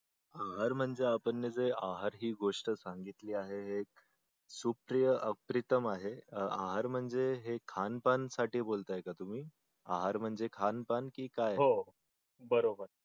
आहार म्हणजे आपण जी आहाराची गोष्ट सांगितली आहे हे सुप्रिय अप्रितम आहे आहार म्हणजे हे खानपान साठी बोलताय का तुम्ही आहार म्हणजे खानपान की काय बरोबर